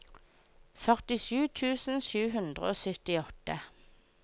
førtisju tusen sju hundre og syttiåtte